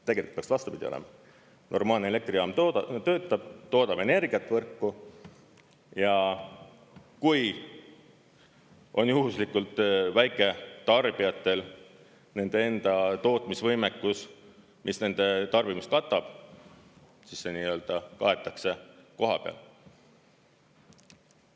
Tegelikult peaks vastupidi olema: normaalne elektrijaam töötab, toodab energiat võrku ja kui on juhuslikult väiketarbijatel nende enda tootmisvõimekus, mis nende tarbimist katab, siis see kaetakse kohapeal.